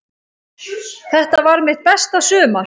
Þetta varð mitt besta sumar.